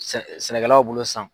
Sɛ sɛnɛkɛlaw bolo